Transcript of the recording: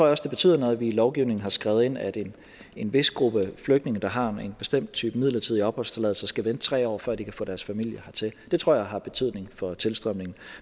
også det betyder noget at vi i lovgivningen har skrevet ind at en vis gruppe flygtninge der har en bestemt type midlertidig opholdstilladelse skal vente tre år før de kan få deres familie hertil det tror jeg har betydning for tilstrømningen